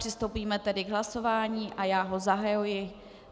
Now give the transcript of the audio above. Přistoupíme tedy k hlasování a já ho zahajuji.